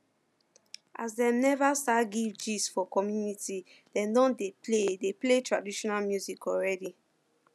as dem neva start give gist for the community dem don dey play dey play traditional music already